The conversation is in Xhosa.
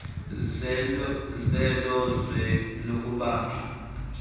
zelo zwe lokubanjwa